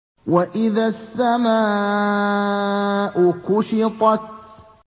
وَإِذَا السَّمَاءُ كُشِطَتْ